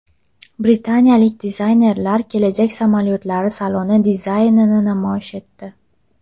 Britaniyalik dizaynerlar kelajak samolyotlari saloni dizaynini namoyish etdi.